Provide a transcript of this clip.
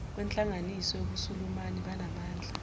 kwenhlanganiso yobusulumani banamandla